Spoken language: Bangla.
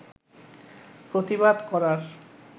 প্রতিবাদ করার